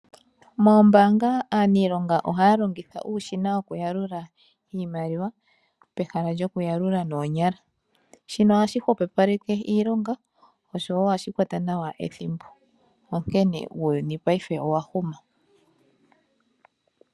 Moombanga aaniilonga ohaya longitha uushina wo kuyalula iimaliwa pehala lyoku yalula noonyala ,shino ohashi hwepopaleke iilonga oshowo ohashi kwata nawa ethimbo onkene uuyuni payife owahuma.